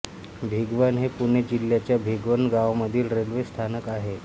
भिगवण हे पुणे जिल्ह्याच्या भिगवण गावामधील रेल्वे स्थानक आहे